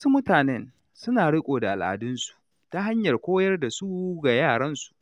Wasu mutanen suna riƙe al’adunsu ta hanyar koyar da su ga yaran su.